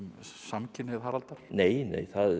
samkynhneigð Haraldar nei nei